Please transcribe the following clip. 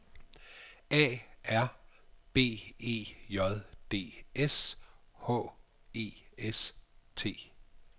A R B E J D S H E S T